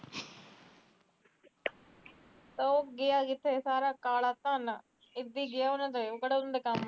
ਉਹ ਗਿਆ ਕਿਥੇ ਸਾਰਾ ਕਾਲਾ ਧਨ ਇਦੀ ਗਿਆ ਉਹਨਾਂ ਦੇ ਉਹ ਕਿਹੜਾ ਕੰਮ